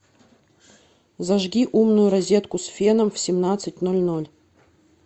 зажги умную розетку с феном в семнадцать ноль ноль